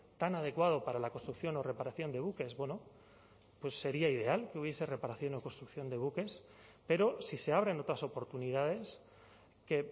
tan adecuado para la reconstrucción o reparación de buques bueno pues sería ideal que hubiese reparación o construcción de buques pero si se abren otras oportunidades que